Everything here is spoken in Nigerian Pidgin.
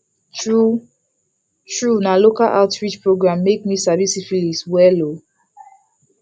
true true na local outreach program make me sabi syphilis well o